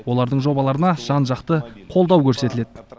олардың жобаларына жан жақты қолдау көрсетіледі